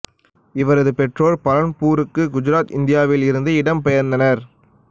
இவரது பெற்றோர் பலன்பூருக்கு குஜராத் இந்தியாவில் இருந்து இடம் பெயர்ந்தனர்